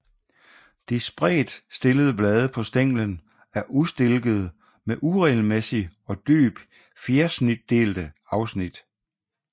De spredtstillede blade på stænglen er ustilkede med uregelmæssigt og dybt fjersnitdelte afsnit